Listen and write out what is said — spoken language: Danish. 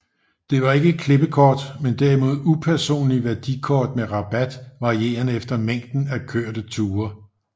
Der var ikke klippekort men derimod upersonlige værdikort med rabat varierende efter mængden af kørte ture